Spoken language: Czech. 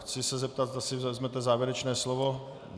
Chci se zeptat, zda si vezmete závěrečné slovo.